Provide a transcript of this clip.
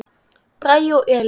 Bragi og Elín.